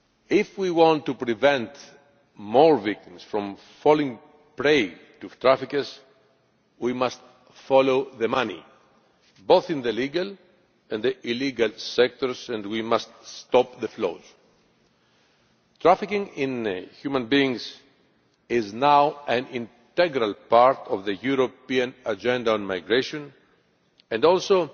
If we want to prevent more victims falling prey to traffickers we must follow the money, both in the legal and the illegal sectors, and we must stop the flows. Trafficking in human beings is now an integral part of the European Agenda on Migration and also